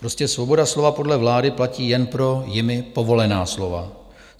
Prostě svoboda slova podle vlády platí jen pro jimi povolená slova.